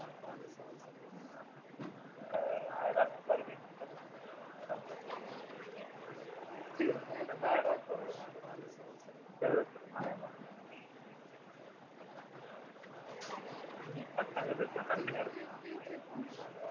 ஆயிரம் ரூபாய் சம்பாதிக்கிறதுக்கு ரொம்ப கஷ்டப்படுறேன் சட்டங்கள் இருக்கலாம் கடுமையா இருக்கலாம்